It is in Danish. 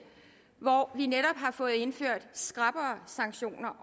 hvor vi netop har fået indført skrappere sanktioner